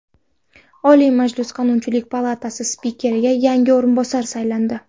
Oliy Majlis Qonunchilik palatasi spikeriga yangi o‘rinbosar saylandi.